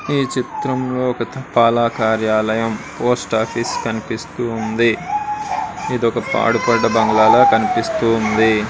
ఈ చిత్రంలో ఒక తపాలా కార్యాలయం పోస్ట్ ఆఫీస్ కనిపిస్తూ ఉంది. ఇదొక పాడిపడ్డ బంగ్లా లాగా కనిపిస్తుంది.